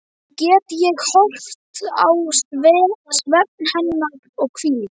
Enn get ég horft á svefn hennar og hvíld.